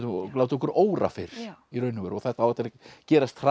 látið okkur óra fyrir í raun og veru og það á eftir að gerast hraðar